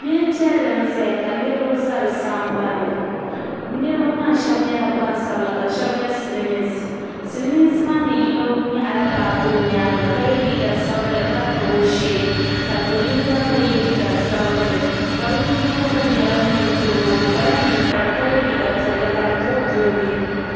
Yili piɛlli n zaya ka niriba za di sambani niriba maa aheba nyɛla gbansabla ka sheba nyɛ silimiinsi silimiinsi maa ni yino nyaɣila baaji o nyaanga ka yɛ liiga sabinli ka tabi o shee ka do yinga ye liiga sabinli ka bɛ ni yino gba nyɛ Ninkurigu o kpala niŋkpara ka ye liiga piɛlli ka di booboogi.